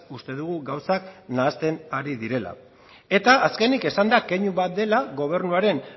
uste dugu gauzak nahasten ari direla eta azkenik esan da keinu bat dela gobernuaren